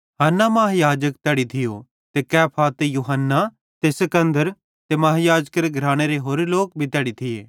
हन्ना महायाजक तैड़ी थियो ते कैफा ते यूहन्ना महायाजक ते सिकन्दर ते खानदेंनरे होरे लोक भी तैड़ी थिये